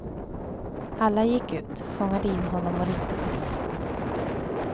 Alla gick ut, fångade in honom och ringde polisen.